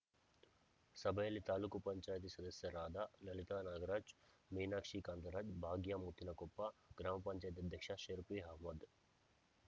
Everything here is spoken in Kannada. ಸಭೆಯಲ್ಲಿ ತಾಲೂಕು ಪಂಚಾಯಿತಿ ಸದಸ್ಯರಾದ ಲಲಿತ ನಾಗರಾಜ್‌ ಮೀನಾಕ್ಷಿ ಕಾಂತರಾಜ್‌ ಭಾಗ್ಯ ಮುತ್ತಿನಕೊಪ್ಪ ಗ್ರಾಮ ಪಂಚಾಯಿತಿ ಅಧ್ಯಕ್ಷ ಶಫೀರ್‌ ಅಹಮ್ಮದ್‌